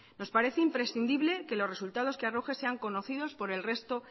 nos parece imprescindible que los resultados que arroje sean conocidos por el resto